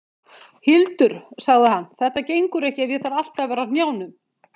Hildur, sagði hann, þetta gengur ekki ef ég þarf alltaf að vera á hnjánum.